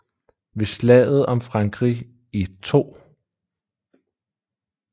Ved Slaget om Frankrig i 2